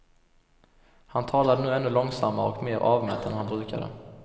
Han talade nu ännu långsammare och mer avmätt än han brukade.